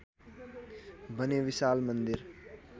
भने विशाल मन्दिर